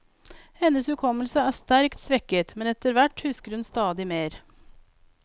Hennes hukommelse er sterkt svekket, men etter hvert husker hun stadig mer.